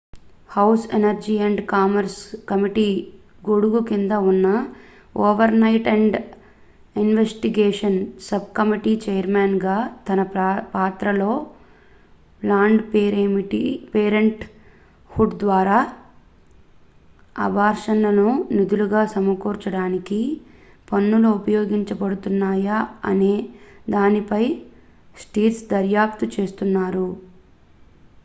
house energy and commerce committee గొడుగు కింద ఉన్న oversight and investigations sub committee chairman గా తన పాత్రలో ప్లాన్డ్ పేరెంట్ హుడ్ ద్వారా అబార్షన్లకు నిధులు సమకూర్చడానికి పన్నులు ఉపయోగించబడుతున్నాయా అనే దానిపై స్టిర్న్స్ దర్యాప్తు చేస్తున్నారు